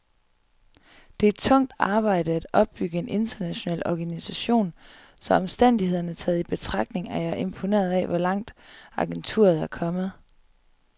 Det er tungt arbejde at opbygge en international organisation, så omstændighederne taget i betragtning er jeg imponeret af, hvor langt agenturet er kommet.